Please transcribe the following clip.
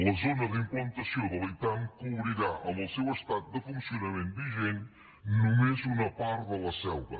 la zona de implantació de la itam cobrirà amb el seu estat de funcionament vigent només una part de la selva